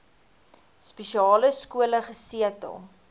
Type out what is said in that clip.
spesiale skole gesetel